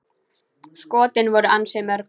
Skotin voru ansi mörg.